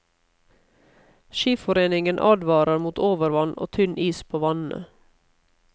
Skiforeningen advarer mot overvann og tynn is på vannene.